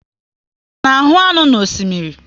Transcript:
A na ahu nnu na osimiri